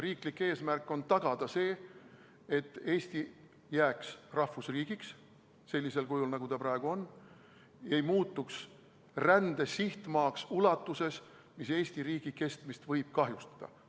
Riiklik eesmärk on tagada see, et Eesti jääks rahvusriigiks sellisel kujul, nagu ta praegu on, ei muutuks rände sihtmaaks ulatuses, mis Eesti riigi kestmist võib kahjustada.